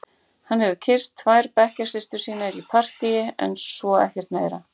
Hann hefur kysst tvær bekkjarsystur sínar í partíi en svo ekkert meira.